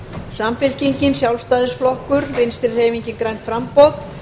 samfylkingin sjálfstæðisflokkur vinstri hreyfingin grænt framboð